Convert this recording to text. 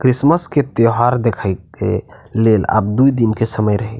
Christmas के त्योहार देखे के लेल अब दू दिन के समय रहे --